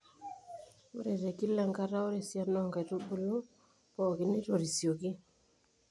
ore te kila enkata ore esiana oo nkaitubulu pookon neitorisioki.